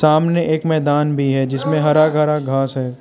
सामने एक मैदान भी है जिसमें हरा भरा घास है।